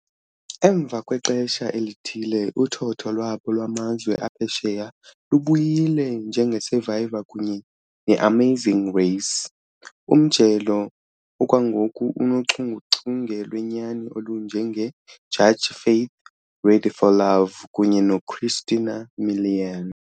Emva kwexesha elithile, uthotho lwabo lwamazwe aphesheya lubuyile, njenge Survivor kunye neAmazing Race. Umjelo okwangoku unochungechunge lwenyani olunje nge Judge Faith, Ready For Love kunye noChristina Milian.